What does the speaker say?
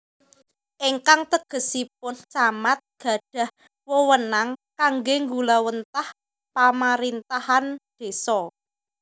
Ingkang tegesipun Camat gadhah wewenang kangge nggulawentah pamarintahan désa